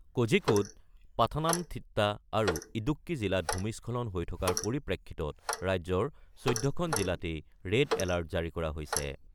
কোঝিকোড, পাথানামথিট্টা আৰু ইদুক্কি জিলাত ভূমিস্খলন হৈ থকাৰ পৰিপ্ৰেক্ষিতত ৰাজ্যৰ ১৪খন জিলাতেই ৰেড এলাৰ্ট জাৰি কৰা হৈছে।